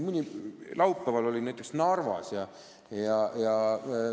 Ma isegi olin näiteks laupäeval Narvas.